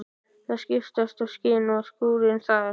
Það skiptast á skin og skúrir þar.